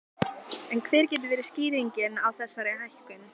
En hver getur verið skýringin á þessari hækkun?